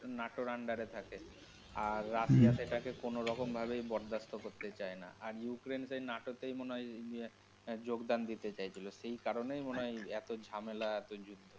Natore under এ থাকে আর রাশিয়া তো এটাকে কোনও রকম ভাবেই বরদাস্ত করতে চায় না আর ইউক্রেইন্ তো নাটোতেই মনে হয় ইহঃ যোগদান দিতে চাইছিলো সেই কারণেই মনে হয় এই এতো ঝামেলা এতো যুদ্ধ।